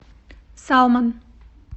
салмон